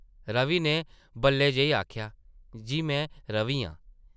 रवि नै बल्लै जेही आखेआ, ‘‘जी में रवि आं ।’’